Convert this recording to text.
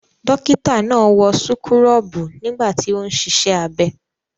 Dọ́kítá náà wọ súkúrọ́bù nígbà tí ó ń ṣiṣẹ́ abẹ.